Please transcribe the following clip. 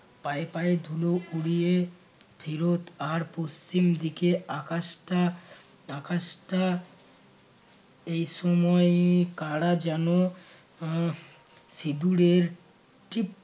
পায়ে পায়ে ধুলো উড়িয়ে ফেরত, আর পশ্চিম দিকে আকাশটা আকাশটা এই সময়ে কারা যেন আহ সিঁদুরের